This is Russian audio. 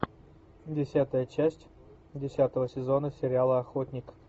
десятая часть десятого сезона сериала охотник